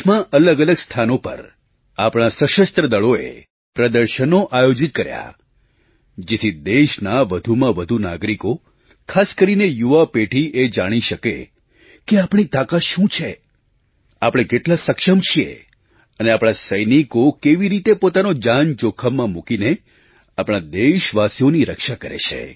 દેશમાં અલગઅલગ સ્થાનો પર આપણાં સશસ્ત્ર દળોએ પ્રદર્શનો આયોજિત કર્યાં જેથી દેશના વધુમાં વધુ નાગરિકો ખાસ કરીને યુવા પેઢી એ જાણી શકે કે આપણી તાકાત શું છે આપણે કેટલા સક્ષમ છીએ અને આપણા સૈનિકો કેવી રીતે પોતાનો જાન જોખમમાં મૂકીને આપણા દેશવાસીઓની રક્ષા કરે છે